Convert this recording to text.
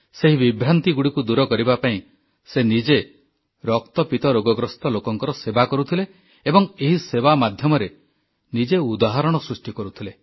ସେହି ବିଭ୍ରାନ୍ତିଗୁଡ଼ିକୁ ଦୂର କରିବା ପାଇଁ ସେ ନିଜେ ରକ୍ତପିତ ରୋଗଗ୍ରସ୍ତ ଲୋକଙ୍କର ସେବା କରୁଥିଲେ ଏବଂ ଏହି ସେବା ମାଧ୍ୟମରେ ନିଜେ ଉଦାହରଣ ସୃଷ୍ଟି କରୁଥିଲେ